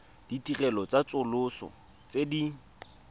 ditirelo tsa tsosoloso tse di